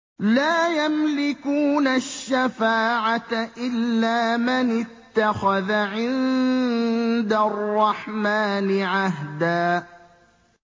لَّا يَمْلِكُونَ الشَّفَاعَةَ إِلَّا مَنِ اتَّخَذَ عِندَ الرَّحْمَٰنِ عَهْدًا